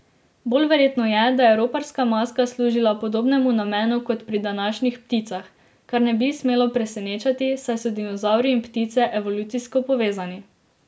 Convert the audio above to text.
Bolj verjetno je, da je roparska maska služila podobnemu namenu kot pri današnjih pticah, kar ne bi smelo presenečati, saj so dinozavri in ptice evolucijsko povezani.